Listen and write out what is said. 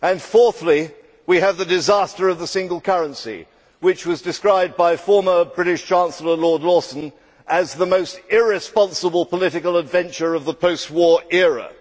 Fourthly, we have the disaster of the single currency, which was described by former British Chancellor Lord Lawson as the most irresponsible political adventure of the post war era.